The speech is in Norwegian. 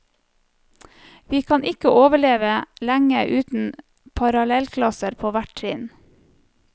Vi kan ikke overleve lenge uten parallellklasser på hvert trinn.